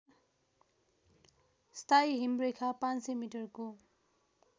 स्थायी हिमरेखा ५०० मिटरको